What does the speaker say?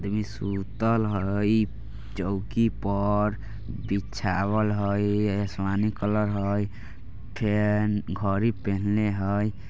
देवी सूतल हय चौकी पर बिछावल हय आसमानी कलर हय फेन घडी पे हनले हय।